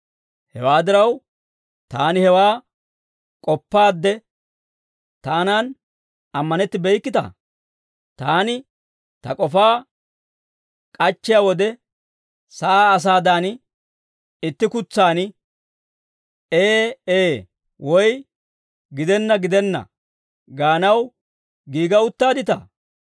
Hewaa diraw, taani hewaa k'oppaadde taanan ammanettibeykkita? Taani ta k'ofaa k'achchiyaa wode, sa'aa asaadan itti kutsaan, «Ee, Ee» woy, «Gidenna, gidenna» gaanaw giiga uttaadditaa?